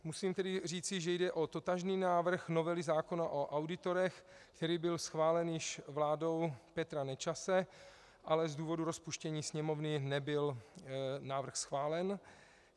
Musím tedy říci, že jde o totožný návrh novely zákona o auditorech, který byl schválen již vládou Petra Nečase, ale z důvodu rozpuštění Sněmovny nebyl návrh schválen.